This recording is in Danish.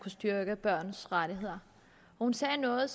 styrke børns rettigheder hun sagde noget